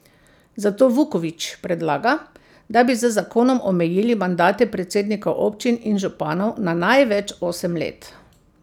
Zato Vuković predlaga, da bi z zakonom omejili mandate predsednikov občin in županov na največ osem let.